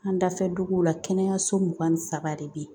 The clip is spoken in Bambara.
An dafɛ duguw la kɛnɛyaso mugan ni saba de bɛ yen